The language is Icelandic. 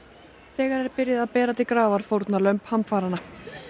þegar er byrjað að bera til grafar fórnarlömb hamfaranna